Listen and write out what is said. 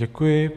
Děkuji.